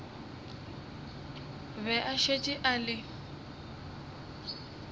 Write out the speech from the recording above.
be a šetše a le